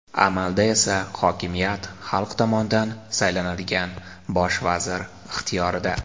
Amalda esa hokimiyat xalq tomonidan saylanadigan bosh vazir ixtiyorida.